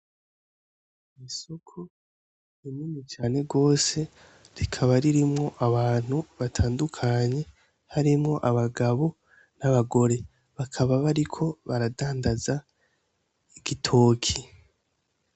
Isoko rinini cane gose rikaba ririmwo abantu batandukanye harimwo abagabo n'abagore bakaba bariko baradandaza igitoki.